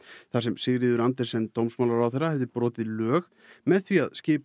þar sem Sigríður Andersen dómsmálaráðherra hefði brotið lög með því að skipa